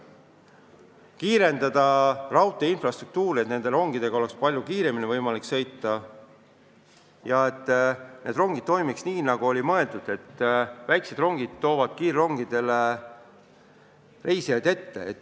Tuleb täiustada raudtee infrastruktuuri, et rongidega oleks palju kiiremini võimalik sõita ja et süsteem toimiks nii, nagu oli mõeldud, et väiksed rongid toovad kiirrongile reisijaid ette.